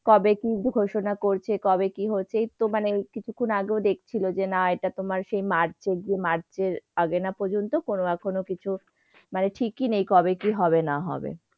কবে কি ঘোষণা করছে, কবে কি হচ্ছে। এইতো মানে কিছুক্ষণ আগেও দেখছিল যে, না এটা তোমার সেই march এর যে march এর আগে না পর্যন্ত কোনো না কোনো কিছু মানে ঠিকই নেই কবে কি হবে না হবে।